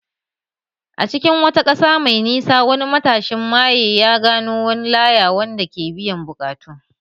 A cikin wata ƙasa mai nisa, wani matashin maye ya gano wani laya wanda ke biyan buƙatu